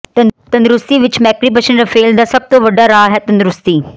ਤੰਦਰੁਸਤੀ ਵਿਚ ਮੇਕ੍ਰਿਪਸ਼ਨ ਰਫ਼ੇਲ ਦਾ ਸਭ ਤੋਂ ਵੱਡਾ ਰਾਹ ਹੈ ਤੰਦਰੁਸਤੀ